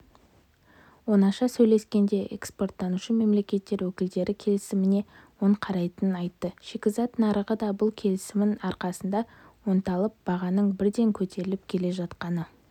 оңаша сөйлескенде экспорттаушы мемлекеттер өкілдері келісіміне оң қарайтынын айтты шикізат нарығы да бұл келісімнің арқасында оңалып бағаның бірден көтеріліп келе жатқаны